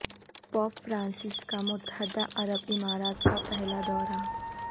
pope Francis کا متحدہ عرب امارات کا پہلا دورہ